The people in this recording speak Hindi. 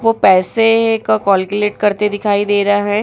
वो पैसे का कौलकुलेट करते दिखाई दे रहा है |